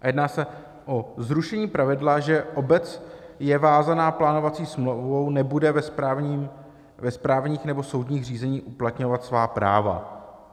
Jedná se o zrušení pravidla, že obec je vázána plánovací smlouvou, nebude ve správních nebo soudních řízeních uplatňovat svá práva.